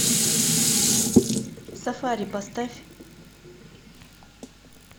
сафари поставь